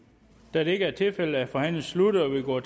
da det ikke er tilfældet er forhandlingen sluttet og vi går